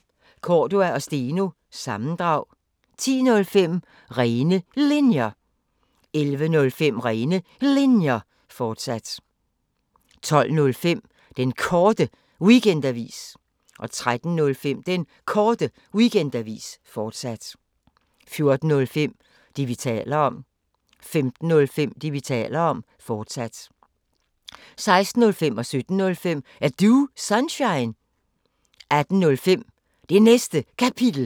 05:05: Cordua & Steno – sammendrag 10:05: Rene Linjer 11:05: Rene Linjer, fortsat 12:05: Den Korte Weekendavis 13:05: Den Korte Weekendavis, fortsat 14:05: Det, vi taler om 15:05: Det, vi taler om, fortsat 16:05: Er Du Sunshine? 17:05: Er Du Sunshine? 18:05: Det Næste Kapitel